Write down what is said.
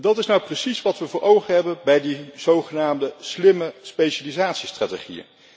En dat is nou precies wat we voor ogen hebben bij die zogenaamde slimme specialisatiestrategieën.